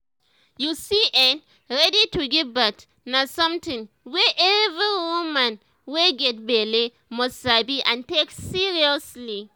you see[um]to ready to give birth na something wey every woman wey get belle must sabi and take seriously